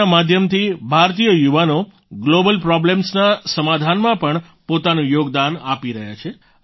અપના માધ્યમથી ભારતીય યુવાનો ગ્લોબલ પ્રોબ્લેમ્સના સમાધાનમાં પણ પોતાનું યોગદાન આપી રહ્યા છે